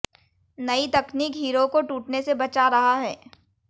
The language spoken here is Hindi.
नई तकनीक हीरों को टूटने से बचा रहा है